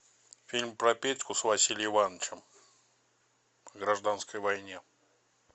фильм про петьку с василием ивановичем в гражданской войне